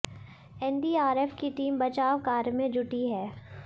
NDRF की team बचाव कार्य में जुटी है